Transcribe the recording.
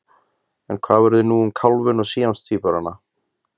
En hvað verður nú um kálfinn eða síamstvíburana?